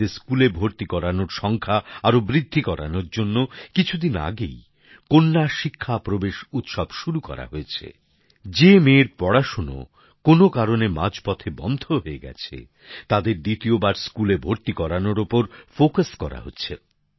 মেয়েদের স্কুলে ভর্তি করানোর সংখ্যা আরও বাড়ানোর জন্য কিছুদিন আগেই কন্যা শিক্ষা প্রবেশ উৎসব শুরু করা হয়েছে যে মেয়ের পড়াশোনা কোনো কারণে মাঝপথে বন্ধ হয়ে গেছে তাদের দ্বিতীয়বার স্কুলে ভর্তি করানোর ওপর গুরুত্ব দেওয়া হচ্ছে